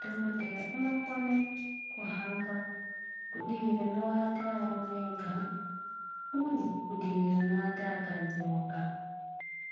Dhokodheya unokone kuhamba kudivi rinoata arume ega uye kudivi rinoata akadzi woga.